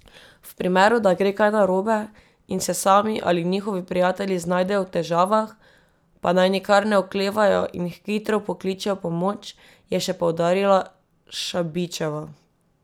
V primeru, da gre kaj narobe in se sami ali njihovi prijatelji znajdejo v težavah, pa naj nikar ne oklevajo in hitro pokličejo pomoč, je še poudarila Šabićeva.